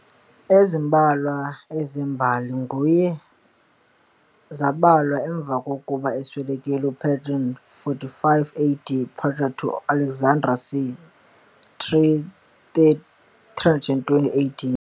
ezimbalwa ezembali nguye zabhalwa emveni kukoba eswelekiled, ngu Proclus c. 450 AD and Pappus of Alexandria c. 320 AD.